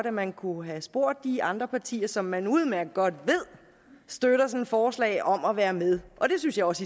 at man kunne have spurgt de andre partier som man udmærket godt ved støtter sådan et forslag om at være med og det synes jeg også